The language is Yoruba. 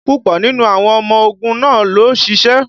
Púpọ̀ nínú àwọn ọmọ ogun náà lò ṣìṣe